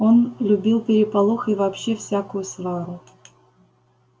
он любил переполох и вообще всякую свару